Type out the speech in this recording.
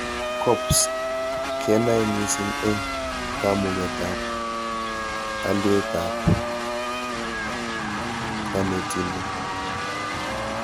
CoPs kenoe mising eng kamugetab alietab konetindet